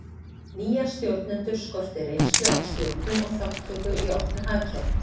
Nýja stjórnendur skorti reynslu af stjórnun og þátttöku í opnu hagkerfi.